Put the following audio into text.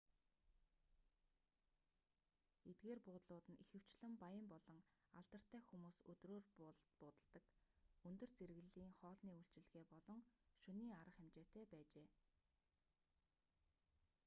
эдгээр буудлууд нь ихэвчлэн баян болон алдартай хүмүүс өдрөөр буудалладаг өндөр зэрэглэлийн хоолны үйлчилгээ болон шөнийн арга хэмжээтэй байжээ